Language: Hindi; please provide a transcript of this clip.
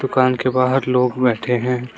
दुकान के बाहर लोग बैठे हैं।